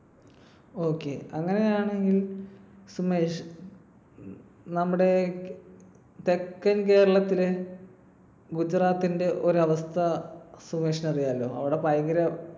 Okay അങ്ങനെയാണെങ്കിൽ സുമേഷ് നമ്മുടെ തെക്കൻ കേരളത്തിൽ ഗുജറാത്തിന്റെ ഒരവസ്ഥ സുമേഷിന് അറിയാലോ. അവിടെ ഭയങ്കര